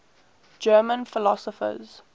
german philosophers